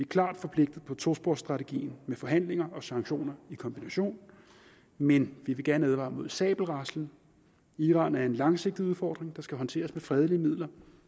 klart forpligtet på tosporsstrategien med forhandlinger og sanktioner i kombination men vi vil gerne advare mod sabelraslen iran er en langsigtet udfordring der skal håndteres med fredelige midler